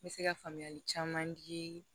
N bɛ se ka faamuyali caman di